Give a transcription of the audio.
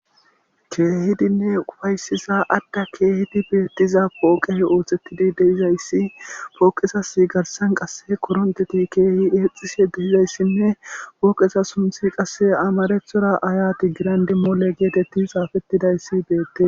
keehidinne ufaysiza adda keehidi beettiza pooqey ooththettidi de7izayssi pooqezas garsan qasse koronteti keehi eexxishe de7izayssinne pooqesa sunthi qasse amarethora ayati girandi mole geetetti xaafettidayssi beette